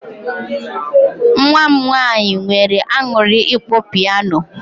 Nwa m nwaanyị nweere aṅụrị ịkpọ piano.